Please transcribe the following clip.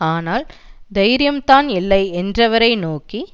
ஆனால் தைரியம் தான் இல்லை என்றவரை நோக்கி